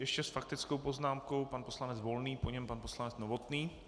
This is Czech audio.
Ještě s faktickou poznámkou pan poslanec Volný, po něm pan poslanec Novotný.